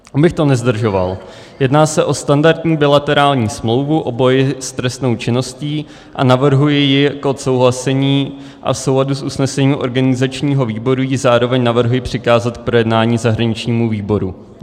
Abych to nezdržoval, jedná se o standardní bilaterální smlouvu o boji s trestnou činností a navrhuji ji k odsouhlasení a v souladu s usnesením organizačního výboru ji zároveň navrhuji přikázat k projednání zahraničnímu výboru.